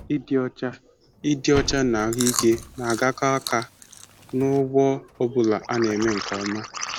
Ịdị ọcha Ịdị ọcha na ahụike na-agakọ aka n'ugbo ọ bụla a na-eme nke ọma.